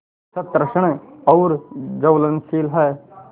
सतृष्ण और ज्वलनशील है